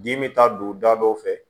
Dimi bɛ taa don da dɔ fɛ